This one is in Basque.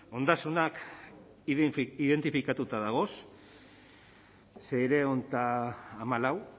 ondasunak identifikatuta dagoz seiehun eta hamalau